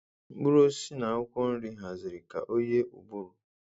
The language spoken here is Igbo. Mkpụrụ osisi na akwụkwọ nri haziri ka ọ yie ụbụrụ.